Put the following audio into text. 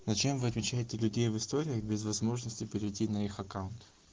зачем вы отмечаете людей в истории без возможности перейти на их аккаунт